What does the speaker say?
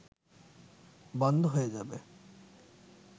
বন্ধ হয়ে যাবে